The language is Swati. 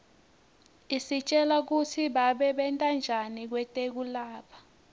isitjela kutsi babentanjani kwetekulapha